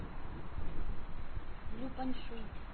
люпаньшуй